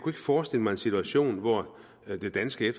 forestille mig en situation hvor en af de danske